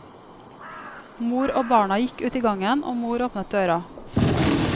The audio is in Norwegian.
Mor og barna gikk ut i gangen, og mor åpnet døra.